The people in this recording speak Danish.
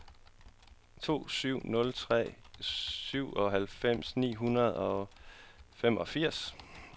to syv nul tre syvoghalvfems ni hundrede og femogfirs